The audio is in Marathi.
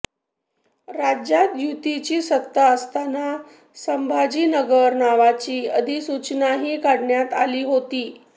राज्यात युतीची सत्ता असताना संभाजीनगर नावाची अधिसूचनाही काढण्यात आली होती